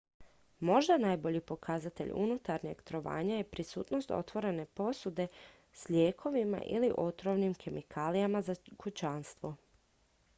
možda najbolji pokazatelj unutarnjeg trovanja je prisutnost otvorene posude s lijekovima ili otrovnim kemikalijama za kućanstvo